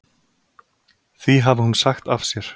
Því hafi hún sagt af sér.